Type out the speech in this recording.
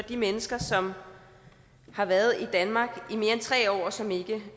de mennesker som har været i danmark i mere end tre år og som ikke